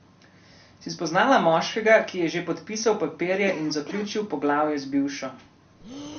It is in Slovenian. Si spoznala moškega, ki je že podpisal papirje in zaključil poglavje z bivšo?